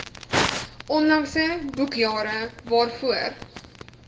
onlangse boekjare waarvoor